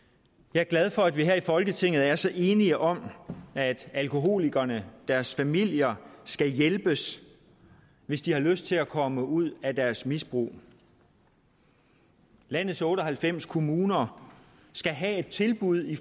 jeg er glad for at vi her i folketinget er så enige om at alkoholikerne og deres familier skal hjælpes hvis de har lyst til at komme ud af deres misbrug landets otte og halvfems kommuner skal have et tilbud